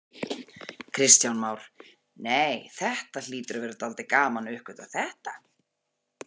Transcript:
Kristján Már: Nei, þetta hlýtur að vera dálítið gaman að uppgötva þetta?